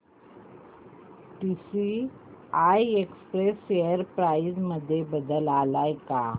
TCI Express share price मध्ये बदल आलाय का